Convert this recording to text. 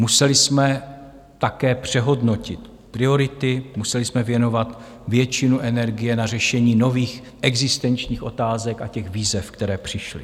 Museli jsme také přehodnotit priority, museli jsme věnovat většinu energie na řešení nových existenčních otázek a těch výzev, které přišly.